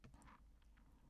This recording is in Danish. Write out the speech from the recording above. DR K